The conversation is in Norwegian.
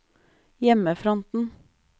hjemmefronten